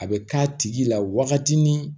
A bɛ k'a tigi la wagati ni